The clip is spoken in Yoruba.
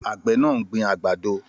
Àgbẹ̀ náà ń gbin àgbàdo